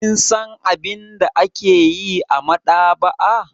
Kin san abin da ake yi a maɗaba'a?